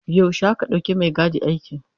Yaushe aka ɗauki maigadi aiki.